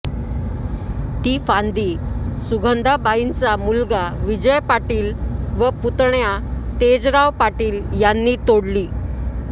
ती फांदी सुगंधाबाईंचा मुलगा विजय पाटील व पुतण्या तेजराव पाटील यांनी तोडली